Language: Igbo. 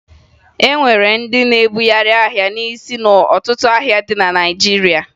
E nwere ndị na-ebugharị ahịa n'isi n'ọtụtụ ahịa dị na Naịjirịa